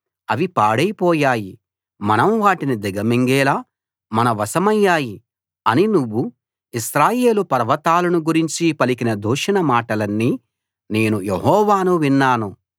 అవి పాడైపోయాయి మనం వాటిని దిగమింగేలా మన వశమయ్యాయి అని నువ్వు ఇశ్రాయేలు పర్వతాలను గురించి పలికిన దూషణ మాటలన్నీ నేను యెహోవాను విన్నాను